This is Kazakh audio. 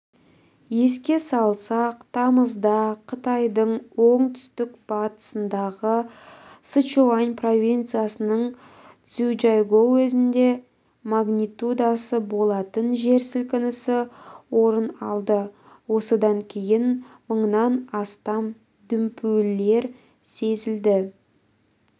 еске салсақ тамызда қытайдың оңтүстік-батысындағы сычуань провинциясының цзючжайгоу уезінде магнитудасы болатын жер сілкінісі орын алды осыдан кейін мыңнан астам дүмпулер сезілді